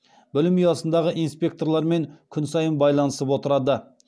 білім ұясындағы инспекторлармен күн сайын байланысып отырады